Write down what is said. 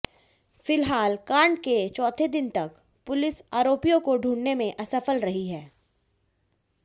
फिलहाल कांड के चौथे दिन तक पुलिस आरोपियों को ढूंढने में असफल रही है